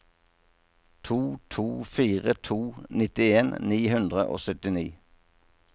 to to fire to nittien ni hundre og syttini